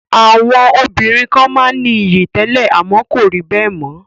Àwọn obìnrin kan máa ń nìyí tẹ́lẹ̀ àmọ́ kò ríbẹ̀ mọ